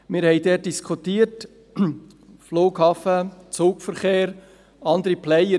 Wir haben dort diskutiert: Flughafen, Zugverkehr, andere Player.